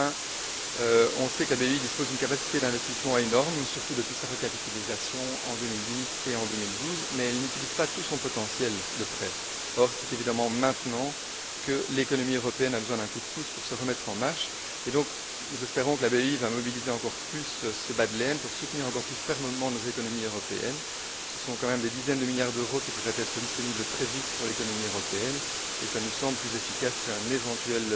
Enfin, nous savons que la BEI dispose d'une capacité d'investissement énorme, surtout depuis sa recapitalisation en 2010 et en 2012, mais nous savons aussi qu'elle n'utilise pas tout son potentiel de prêts. C'est maintenant que l'économie européenne a besoin d'un coup de pouce pour se remettre en marche! Nous espérons donc que la BEI mobilisera encore plus ce bas de laine pour soutenir encore plus fermement nos économies européennes. Ce sont quand même des dizaines de milliards d'euros qui pourraient être disponibles très vite pour l'économie européenne et cela nous semble plus efficace qu'un éventuel